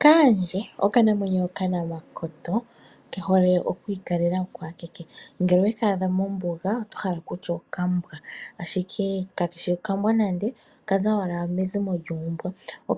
Kaandje okanamwenyo okanamakoto kehole okwiikalela okwakeke, ngele oweekaadha mombunga ototi owala okambwa ashike kakeshi okambwa nande okaza owala mezimo lyuumbwa.